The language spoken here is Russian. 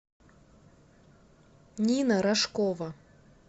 нина рожкова